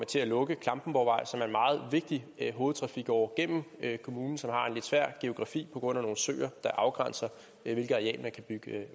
til at lukke klampenborgvej som er en meget vigtig hovedtrafikåre igennem kommunen som har en lidt svær geografi på grund af nogle søer der afgrænser hvilket areal man kan bygge